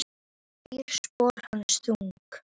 Gerir spor hans þung.